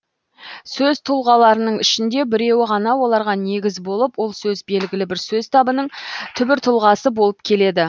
сөз тұлғаларының ішінде біреуі ғана оларға негіз болып ол сөз белгілі бір сөз табының түбір тұлғасы болып келеді